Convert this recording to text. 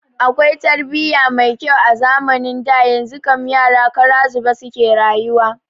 Akwai tarbiya mai kyau a zamanin da, yanzu kam yara kara zube suke rayuwa